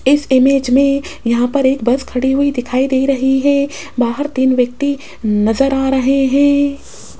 इस इमेज में यहां पर एक बस खड़ी हुई दिखाई दे रही है बाहर तीन व्यक्ति नजर आ रहे है।